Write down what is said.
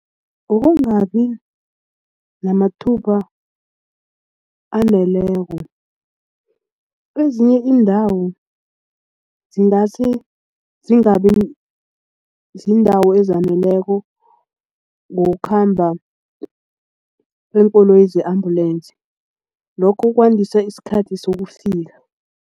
Ngokungabi namathuba aneleko ezinye iindawo zingasi zingabi ziindawo ezaneleko ngokukhamba kweenkoloyi ze-ambulensi lokhu kwandisa isikhathi sekufika.